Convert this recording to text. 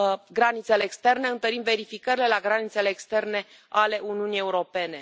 granițele externe, întărim verificările la granițele externe ale Uniunii Europene.